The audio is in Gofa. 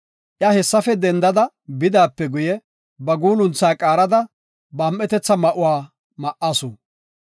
Iya hessafe dendada bidaape guye, ba guulunthaa qaarada, ba am7etetha ma7uwa ma7asu.